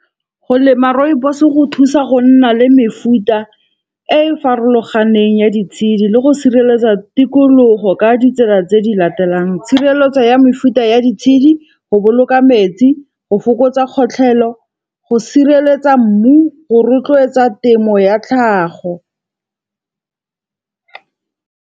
Go lema rooibos go thusa go nna le mefuta e e farologaneng ya ditshedi le go sireletsa tikologo ka ditsela tse di latelang. Tshireletso ya mefuta e ya di tshedi, go boloka metsi, go fokotsa kgotlhelo, go sireletsa mmu go rotloetsa temo ya tlhago.